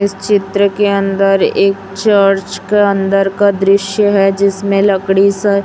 इस चित्र के अंदर एक चर्च के अंदर का दृश्य है जिसमें लकड़ी स--